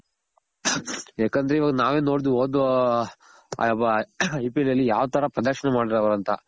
ಯಾಕಂದ್ರೆ ಇವಾಗ ನಾವೇ ನೋಡ್ದ್ವಿ ಓದ್ IPL ಅಲ್ಲಿ ಯಾವ್ ತರ ಪ್ರದರ್ಶನ ಮಾಡಿದ್ರು ಅವ್ರು ಅಂತ